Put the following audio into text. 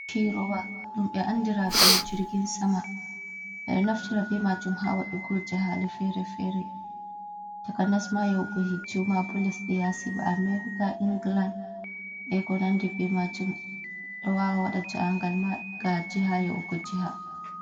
Firowa dum be andira be jirgin sama, bedo naftira be majum hawa dugul jihali fere-fere taka nasma yaugo hiju ma bo lesdo yasi ba amerika, england e konandi be majum awawan a wada jihangal ma ga jiha yaugo jiha.